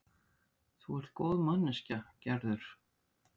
Þú ert góð manneskja, Gerður.